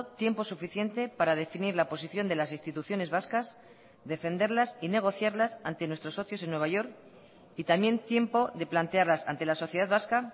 tiempo suficiente para definir la posición de las instituciones vascas defenderlas y negociarlas ante nuestros socios en nueva york y también tiempo de plantearlas ante la sociedad vasca